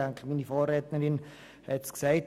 Ich denke, meine Vorrednerin hat es gesagt: